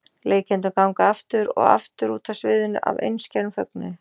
Leikendur ganga aftur og aftur út af sviðinu af einskærum fögnuði.